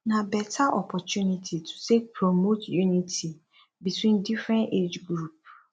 na beta opportunity to take promote unity between different age group